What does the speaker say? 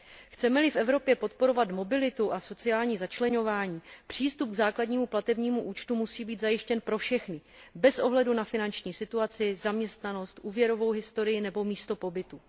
Chceme li v Evropě podporovat mobilitu a sociální začleňování, přístup k základnímu platebnímu účtu musí být zajištěn pro všechny bez ohledu na finanční situaci, zaměstnanost, úvěrovou historii nebo místo pobytu.